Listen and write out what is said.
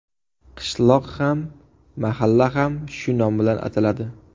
Qishloq ham, mahalla ham shu nom bilan ataladi.